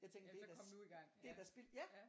Ja så kom nu i gang ja ja